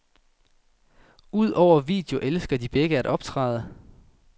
Udover video elsker de begge at optræde.